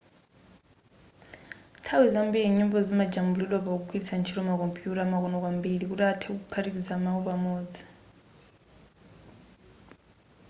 nthawi zambiri nyimbozi zimajambulidwa pogwiritsa ntchito makompuyuta amakono kwambiri kuti anthe kuphatikiza mawu pamodzi